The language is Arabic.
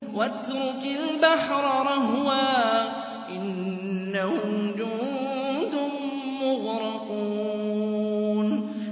وَاتْرُكِ الْبَحْرَ رَهْوًا ۖ إِنَّهُمْ جُندٌ مُّغْرَقُونَ